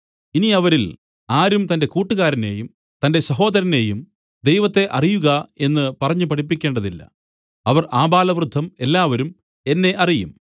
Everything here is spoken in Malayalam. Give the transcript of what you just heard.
ഇനി അവരിൽ ആരും തന്റെ കൂട്ടുകാരനെയും തന്റെ സഹോദരനെയും ദൈവത്തെ അറിയുക എന്നു പറഞ്ഞു പഠിപ്പിക്കേണ്ടതില്ല അവർ ആബാലവൃദ്ധം എല്ലാവരും എന്നെ അറിയും